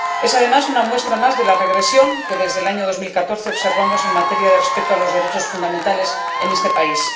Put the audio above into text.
Es, además, una muestra más de la regresión que, desde el año 2014, observamos en materia de respeto a los derechos fundamentales en ese país.